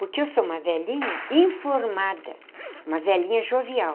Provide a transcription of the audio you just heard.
Porque eu sou uma velhinha informada, uma velhinha jovial.